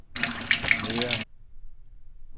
nedad